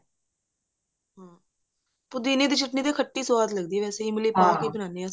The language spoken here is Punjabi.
ਪੁਦੀਨੇ ਦੀ ਚਟਨੀ ਤਾਂ ਖੱਟੀ ਸਵਾਦ ਲੱਗਦੀ ਵੇਸੇ ਪਾ ਕੇ ਬਣਾਉਂਦੇ ਹਾਂ